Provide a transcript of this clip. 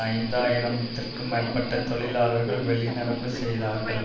ஐந்து ஆயிரம் த்திற்கும் மேற்பட்ட தொழிலாளர்கள் வெளிநடப்பு செய்தார்கள்